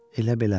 Elə-belə.